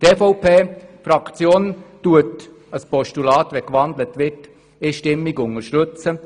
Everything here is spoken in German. Die EVP-Fraktion würde ein Postulat einstimmig unterstützen.